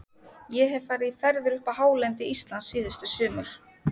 Ég hef farið í ferðir upp á hálendi Íslands síðustu sumur.